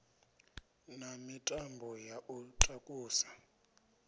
na mitambo ya u takusa